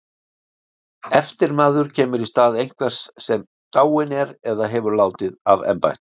Eftirmaður kemur í stað einhvers sem dáinn er eða hefur látið af embætti.